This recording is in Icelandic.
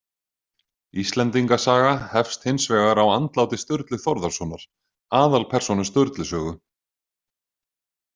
Íslendinga saga hefst hins vegar á andláti Sturlu Þórðarsonar, aðalpersónu Sturlu sögu.